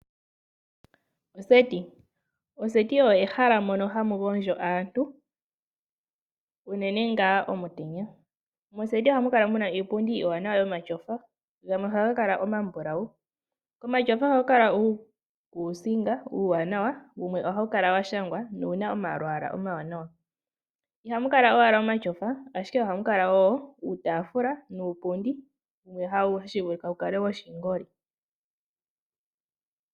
Oseti, oseti olyo ehala mono hamu gondjo aantu uunene ngaa omutenya. Moseti ohamu kala muna iipundi iiwanawa yomatyofa gamwe ohaga kala omabulawu. Komatyofa ohaku kala kuna uukusinga uuwanawa washangwa na owuna omalwaala omawanawa. Ihamu kala owala omatyofa, ihe ohamu kala wo uutaafula nuupundi wumwe hashi vulika wu kale woshingoli.